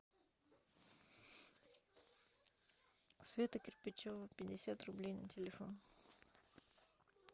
света кирпичева пятьдесят рублей на телефон